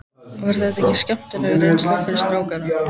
Var það ekki skemmtileg reynsla fyrir strákana?